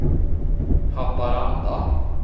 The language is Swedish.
Haparanda